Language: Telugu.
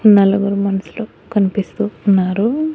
నలుగురు మనుసులు కనిపిస్తూ ఉన్నారు.